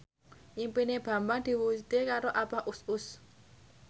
impine Bambang diwujudke karo Abah Us Us